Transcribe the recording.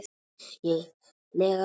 lega klofi.